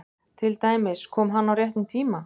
Til dæmis: Kom hann á réttum tíma?